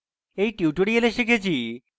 in tutorial আমরা শিখেছি: